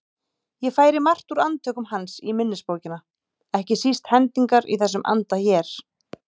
Ég færi margt úr Andvökum hans í minnisbókina, ekki síst hendingar í þessum anda hér